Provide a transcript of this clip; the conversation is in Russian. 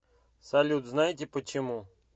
салют знаете почему